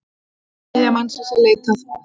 Þriðja mannsins er leitað.